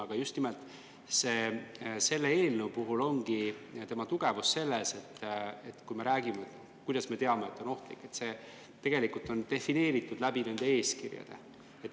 Aga just nimelt, selle eelnõu tugevus ongi selles, et kui me räägime, kuidas me teame, et koer on ohtlik – see tegelikult on defineeritud läbi nende eeskirjade.